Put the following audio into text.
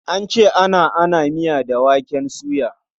An ce ana ana miya da waken soya.